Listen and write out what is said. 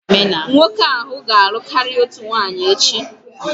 Nwoke ahụ ga-alụ karịa otu nwunye echi.